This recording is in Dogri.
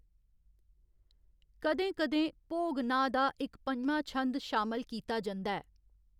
कदें कदें, भोग नांऽ दा इक पञमां छंद शामल कीता जंदा ऐ।